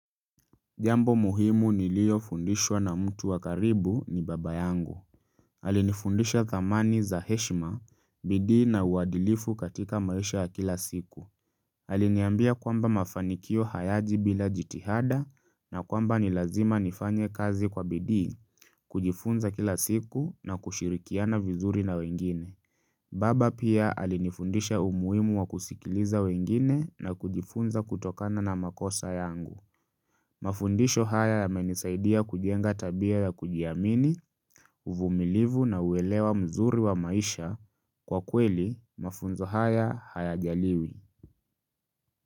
Jambo muhimu niliyofundishwa na mtu wa karibu ni baba yangu. Alinifundisha dhamani za heshima, bidii na uadilifu katika maisha ya kila siku. Aliniambia kwamba mafanikio hayaji bila jitihada na kwamba ni lazima nifanye kazi kwa bidii, kujifunza kila siku na kushirikiana vizuri na wengine. Baba pia alinifundisha umuhimu wa kusikiliza wengine na kujifunza kutokana na makosa yangu. Mafundisho haya yamenisaidia kujenga tabia ya kujiamini, uvumilivu na uelewa mzuri wa maisha kwa kweli mafunzo haya hayajaliwi.